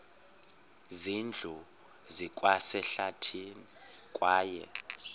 zindlu zikwasehlathini kwaye